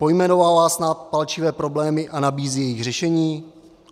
Pojmenovává snad palčivé problémy a nabízí jejich řešení?